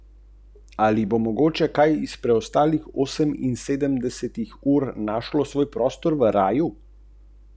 Seveda, če pristanemo na dejstvo, da je Anton Tomaž Linhart del zakladnice svetovne dramatike.